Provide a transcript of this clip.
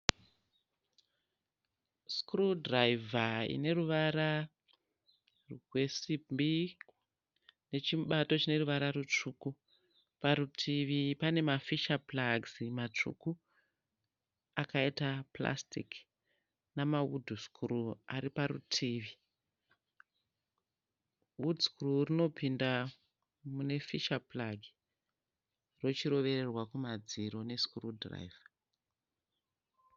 Sikuru dhiraivha ine ruvara rwesimbi nechimubato chine ruvara rutsvuku. Parutivi pane mafisha puragisi matsvuku akaita purasitiki namawudhu sikuru ari parutivi. Wudhu sikuru rinopinda mune mufisha puragi rochirovererwa kumadziro nesikuru dhiraivha.